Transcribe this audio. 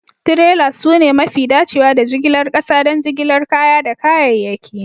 Trailers sune mafi dacewa da jigilar ƙasa don jigilar kaya da kayayyaki